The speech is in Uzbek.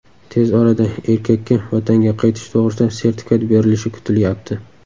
Tez orada erkakka vatanga qaytish to‘g‘risida sertifikat berilishi kutilyapti.